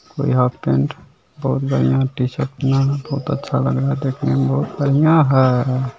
कोई half pant बहुत बढ़िया टी शर्ट पहना है बहुत अच्छा लग रहा है देखने में बहुत बढ़िया है।